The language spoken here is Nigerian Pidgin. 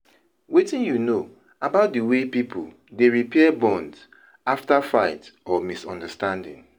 wetin you know about di way people dey repair bonds after fight or misunderstanding?